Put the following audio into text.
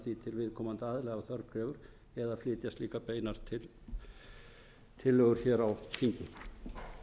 ef þörf krefur eða flytja slíkar beinar tillögur hér á